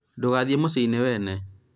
ndũgathie mũciinĩ wene